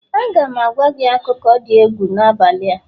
Aga m agwa gị akụkọ dị egwu n'abalị a